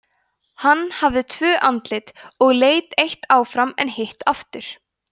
hann hafði tvö andlit og leit eitt áfram en hitt aftur